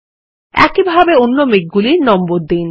একইভাবে অন্যান্য মেঘগুলির নম্বর দিন